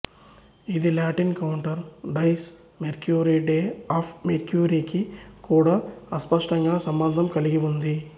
ఇది Latin counter dies Mercury day of మెర్క్యురీకు కూడా అస్పష్టంగా సంబంధం కలిగి ఉంది